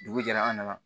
Dugu jɛra an nana